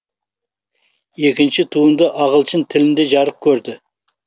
екінші туынды ағылшын тілінде жарық көрді